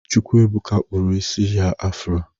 Chukwuebụka kpụrụ isi ya afro.